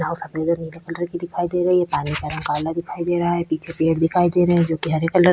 यहाँ सफेद रंग के पिलर भी दिखाई दे रही है पानी का रंग काला दिखाई दे रहा है पीछे पेड़ दिखाई दे रहे है जो कि हरे कलर --